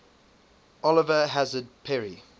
oliver hazard perry